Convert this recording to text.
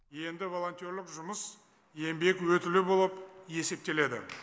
енді волонтерлік жұмыс еңбек өтілі болып есептеледі